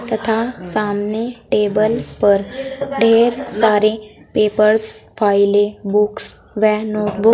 तथा सामने टेबल पर ढेर सारे पेपर्स फाइले बुक्स व नोटबुक --